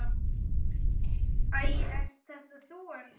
Æ, ert þetta þú elskan?